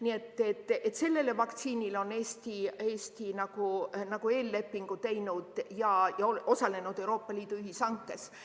Nii et selle vaktsiini saamiseks on Eesti eellepingu sõlminud ja osalenud Euroopa Liidu ühishankes.